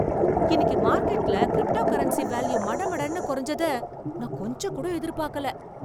இன்னிக்கு மார்கெட்ல cryptocurrency value மடமடன்னு குறைஞ்சத நான் கொஞ்சம்கூட எதிர்பார்க்கல.